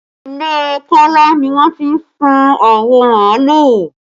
Ilé Kola ni wọ́n ti sun awọ màálù